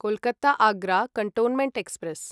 Kolkata Agra cantonment express